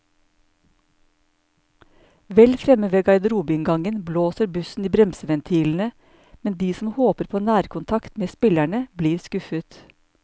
Vel fremme ved garderobeinngangen blåser bussen i bremseventilene, men de som håper på nærkontakt med spillerne, blir skuffet.